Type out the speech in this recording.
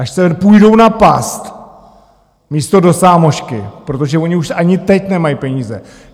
Až se půjdou napást místo do sámošky, protože oni už ani teď nemají peníze!